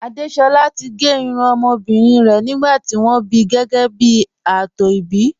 Àdésolá ti gé irun ọmọbìnrin rẹ̀ nígbà tí wọ́n bí gẹ́gẹ́ bí ààtò ìbí